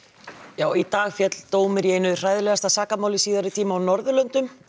já í dag féll dómur í einu hræðilegasta sakamáli síðari tíma á Norðurlöndum